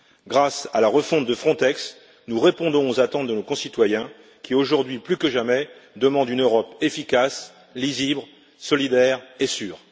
Grâce à la refonte de Frontex, nous répondons aux attentes de nos concitoyens qui, aujourd'hui plus que jamais, demandent une Europe efficace, lisible, solidaire et sûre.